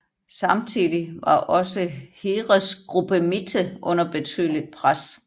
Samtidig var også Heeresgruppe Mitte under betydeligt pres